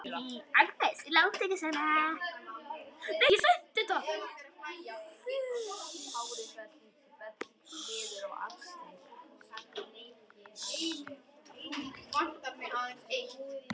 Agnes, láttu ekki svona!